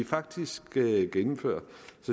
faktisk gennemføres